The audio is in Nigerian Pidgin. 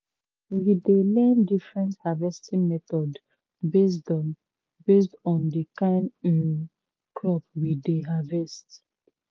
we dey learn different harvesting methods based on based on the kain um crop we dey harvest